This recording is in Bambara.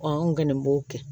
anw kɔni b'o kɛ